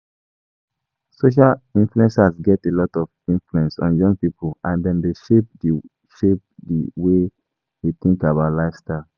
Social influencers get a lot of influence on young people, and dem dey shape di way shape di way we think about lifestyle.